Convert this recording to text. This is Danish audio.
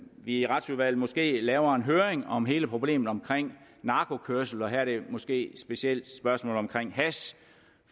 i retsudvalget måske laver en høring om hele problemet om narkokørsel og her er det måske specielt spørgsmålet om hash